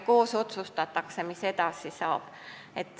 Koos otsustatakse, mis saab edasi.